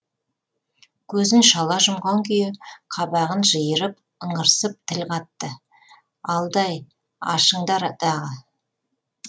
көзін шала жұмған күйі қабағын жиырып ыңырсып тіл қатты алдай ашыңдар дағы